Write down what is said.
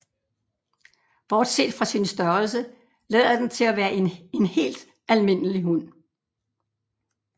Bortset fra sin størrelse lader den til at være en helt almindelig hund